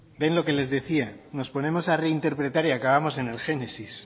bien lo que les decía nos ponemos a reinterpretar y acabamos en el génesis